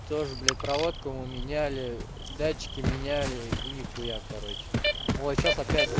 тоже блять проводку мы меняли датчики меняли и нихуя короче вот сейчас опять да